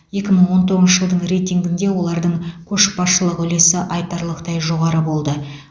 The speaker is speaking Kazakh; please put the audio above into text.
екі мың он тоғызыншы жылдың рейтингінде олардың көшбасшылық үлесі айтарлықтай жоғары болды